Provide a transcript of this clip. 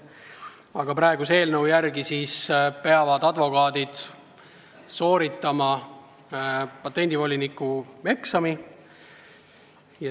Aga praeguse eelnõu järgi peavad advokaadid sooritama patendivoliniku eksami.